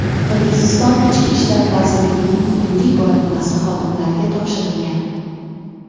Qirg‘iziston Ichki ishlar vazirligining hududiy bo‘linmasi xodimlariga topshirilgan.